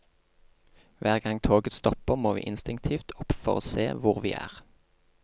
Hver gang toget stopper må vi instinktivt opp for å se hvor vi er.